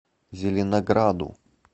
зеленограду